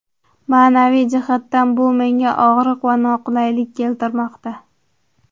Ma’naviy jihatdan bu menga og‘riq va noqulaylik keltirmoqda.